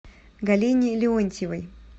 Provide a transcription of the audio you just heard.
галине леонтьевой